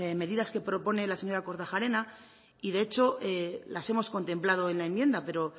medidas que propone la señora kortajarena y de hecho las hemos contemplado en la enmienda pero